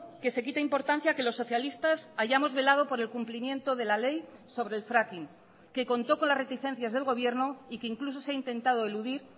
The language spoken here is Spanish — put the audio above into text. que se quita importancia a que los socialistas hayamos velado por el cumplimiento de la ley sobre el fracking que contó con las reticencias del gobierno y que incluso se ha intentado eludir